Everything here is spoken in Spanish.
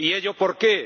¿Y ello por qué?